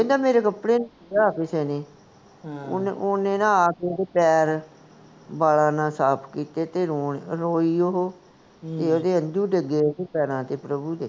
ਕਹਿੰਦਾ ਪ੍ਰਭੂ ਮੇਰੇ ਕਪੜੇ ਕਿਸੇ ਨੇ, ਓਹਨੇ ਨਾ ਆ ਕੇ ਓਹਦੇ ਪੈਰ ਬਾਲਾਂ ਨਾਲ ਸਾਫ ਕੀਤੇ ਤੇ ਰੋਂ, ਰੋਈ ਓਹੋ ਤੇ ਓਹਦੇ ਹੰਜੂ ਡਿੱਗੇ ਓਹਦੇ ਪੈਰਾਂ ਉੱਤੇ, ਪ੍ਰਭੂ ਦੇ